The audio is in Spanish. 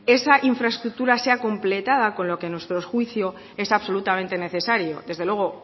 esa infraestructura sea completada con lo que a nuestro juicio es absolutamente necesario desde luego